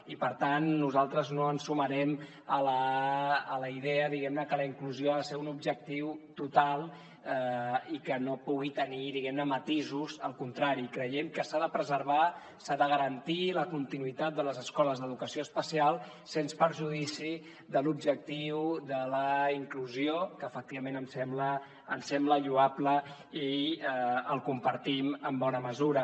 i per tant nosaltres no ens sumarem a la idea diguem ne que la inclusió ha de ser un objectiu total i que no pugui tenir matisos al contrari creiem que s’ha de preservar s’ha de garantir la continuïtat de les escoles d’educació especial sens perjudici de l’objectiu de la inclusió que efectivament em sembla lloable i el compartim en bona mesura